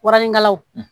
Waranikalaw